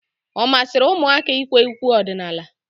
Ọ masịrị ụmụaka ikwe ukwe ọdịnala?